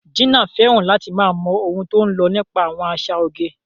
Gina fẹ́ràn láti máa mọ ohun tó ń lọ nípa àwọn àṣà oge.